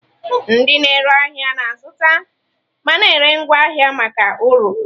Ndị na-ere ahịa na-azụta ma na-ere ngwa ahịa maka uru.